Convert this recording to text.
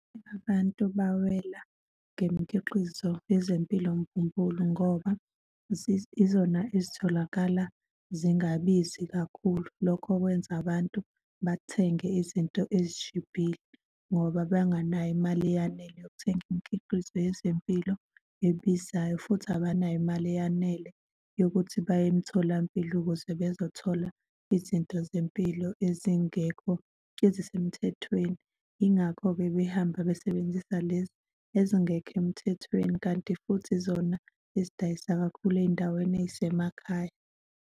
Abantu bawela ngemikhiqizo yezempilo mbumbulu ngoba yizona ezitholakala zingabizi kakhulu. Lokho kwenza abantu bathenge izinto ezishibhile ngoba benganayo imali eyanele yokuthenga imikhiqizo yezempilo ebizayo, futhi abanayo imali eyanele yokuthi baye emtholampilo ukuze bezothola izinto zempilo ezingekho ezisemthethweni. Yingakho-ke behamba besebenzisa lezi ezingekho emthethweni kanti futhi zona ezidayisa kakhulu ey'ndaweni ey'semakhaya.